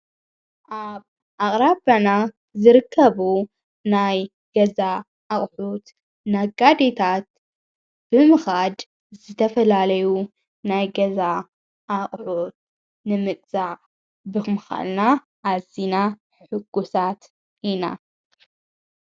ኣብ ኣቕራበና ዝርከቡ ናይ ገዛ ኣቕሑት ናጋድታት ብምኻድ ዘተፈላለዩ ናይ ገዛ ኣቕሑት ንምግዛ ብኽምኻልና ኣዚና ሕጉሳት ኢና።